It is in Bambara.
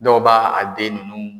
Dɔw b'a den ninnu